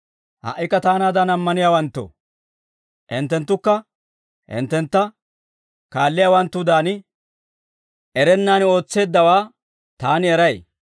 «Ha"ikka taanaadan ammaniyaawanttoo, hinttenttukka hinttentta kaalliyaawanttudan, erennaan ootseeddawaa taani eray.